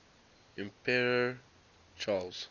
emperor charles